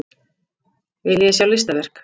Viljiði sjá listaverk?